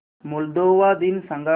Moldova दिन सांगा